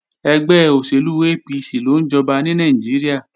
Ẹgbẹ́ òṣèlú APC ló ń jọba ní Nàìjíríà